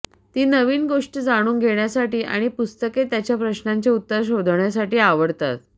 ती नवीन गोष्टी जाणून घेण्यासाठी आणि पुस्तके त्यांच्या प्रश्नांची उत्तरे शोधण्यासाठी आवडतात